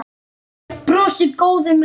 Brosir, góður með sig.